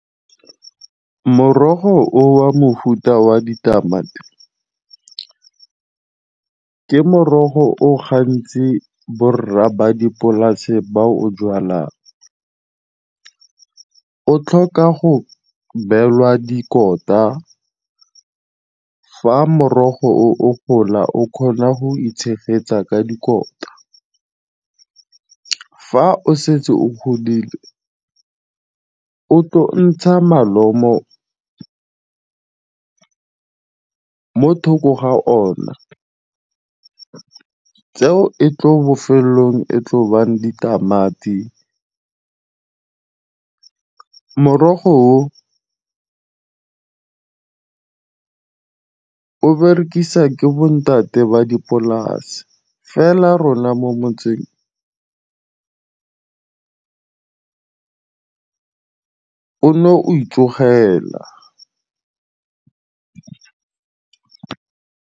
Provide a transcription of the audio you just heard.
Morogo o wa mofuta wa ditamati ke morogo o gantsi borra ba dipolase ba o jwalang. O tlhoka go belwa dikota, fa morogo o gola o kgona go itshegetsa ka dikota. Fa o setse o godile o tlo ntsha malomo mo thoko ga ona, tseo e tlo bofelelong e tlo bang ditamati. Morogo o o berekisa ke bontate ba dipolase, fa rona mo motseng o ne o itlhogela.